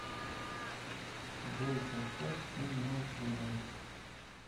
джой поставь ин май филингс